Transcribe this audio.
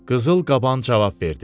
Qızıl qaban cavab verdi.